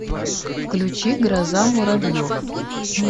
включи гроза муравьев